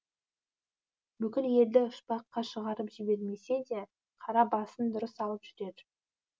бүкіл елді ұшпаққа шығарып жібермесе де қара басын дұрыс алып жүрер